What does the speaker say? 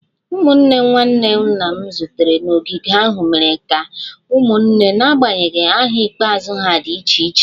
Ụmụnne nwanne nna m zutere n'ogige ahụ mere dị ka ụmụnne n'agbanyeghị aha ikpeazụ ha dị iche iche